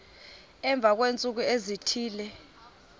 emva kweentsuku ezithile